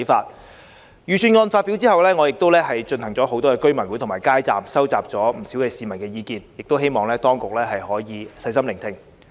在預算案發表後，我曾多次舉行居民大會及擺設街站，蒐集了不少市民的意見，亦希望當局可以細心聆聽。